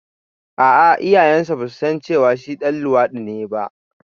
A'a iyayensa ba su san cewa shi ɗan luwaɗi ne ba